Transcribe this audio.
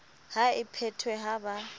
ha e phethwe ha ba